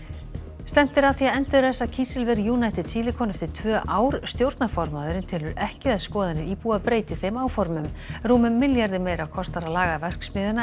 stefnt er að því að endurræsa kísilver United Silicon eftir tvö ár stjórnarformaðurinn telur ekki að skoðanir íbúa breyti þeim áformum rúmum milljarði meira kostar að laga verksmiðjuna en